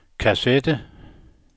kassette